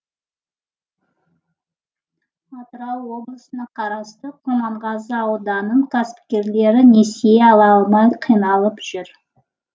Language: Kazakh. атырау облысына қарасты құрманғазы ауданының кәсіпкерлері несие ала алмай қиналып жүр